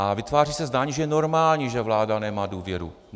A vytváří se zdání, že je normální, že vláda nemá důvěru.